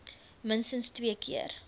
minstens twee keer